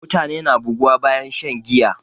Mutane na buguwa bayan shan giya